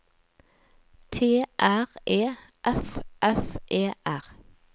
T R E F F E R